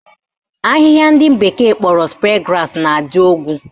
Ahịhịa ndị bekee kpọrọ spear grass na-adụ ogwu